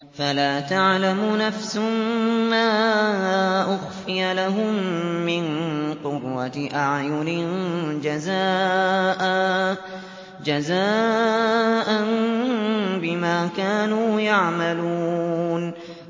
فَلَا تَعْلَمُ نَفْسٌ مَّا أُخْفِيَ لَهُم مِّن قُرَّةِ أَعْيُنٍ جَزَاءً بِمَا كَانُوا يَعْمَلُونَ